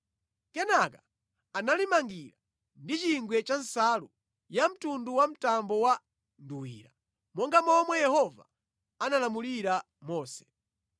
Kenaka analimangira ndi chingwe cha nsalu yamtundu wa mtambo pa nduwira, monga momwe Yehova analamulira Mose.